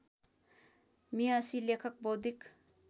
मेहसि लेखक बौद्धिक